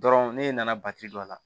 Dɔrɔn ne nana don a la